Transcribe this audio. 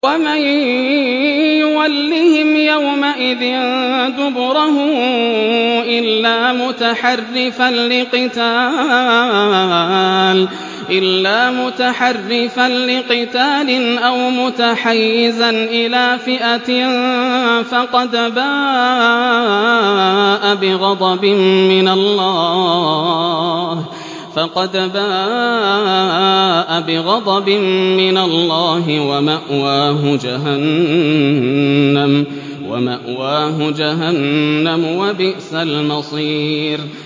وَمَن يُوَلِّهِمْ يَوْمَئِذٍ دُبُرَهُ إِلَّا مُتَحَرِّفًا لِّقِتَالٍ أَوْ مُتَحَيِّزًا إِلَىٰ فِئَةٍ فَقَدْ بَاءَ بِغَضَبٍ مِّنَ اللَّهِ وَمَأْوَاهُ جَهَنَّمُ ۖ وَبِئْسَ الْمَصِيرُ